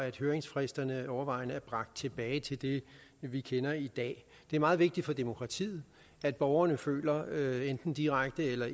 at høringsfristerne overvejende er bragt tilbage til det vi kender i dag det er meget vigtigt for demokratiet at borgerne føler enten direkte eller